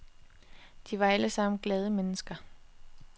De var alle sammen glade mennesker.